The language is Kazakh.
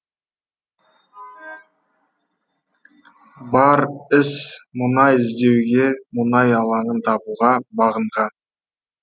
бар іс мұнай іздеуге мұнай алаңын табуға бағынған